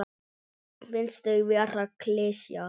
Finnst þau vera klisja.